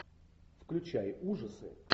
включай ужасы